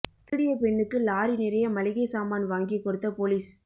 திருடிய பெண்ணுக்கு லாரி நிறைய மளிகை சாமான் வாங்கி கொடுத்த போலீஸ்